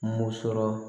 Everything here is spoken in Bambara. Mun sɔrɔ